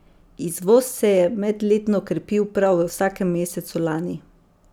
Izvoz se je medletno krepil prav v vsakem mesecu lani.